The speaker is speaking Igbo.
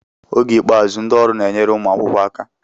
Oge ikpeazụ, ndị ọrụ na-enyere ụmụ akwụkwọ aka.